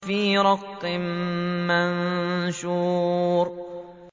فِي رَقٍّ مَّنشُورٍ